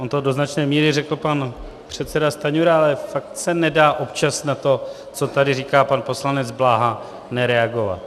On to do značné míry řekl pan předseda Stanjura, ale fakt se nedá občas na to, co tady říká pan poslanec Bláha, nereagovat.